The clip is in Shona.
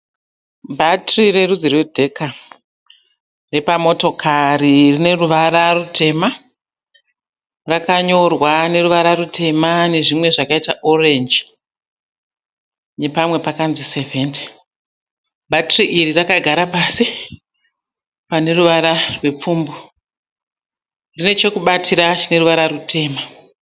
Bhatiri rerudzi rwedheka repamotokari, rineruvara rutema. Rakanyorwa neruvara rutema nezvimwe zvakaita orenji nepamwe pakanzi sevhenite. Bhatiri iri rakagara pasi paneruvara rwepfumbu. Rine chokubatira chitema.